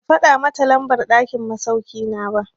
Ban faɗa mata lambar ɗakin masauki na ba.